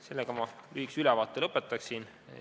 Sellega ma oma lühikese ülevaate lõpetan.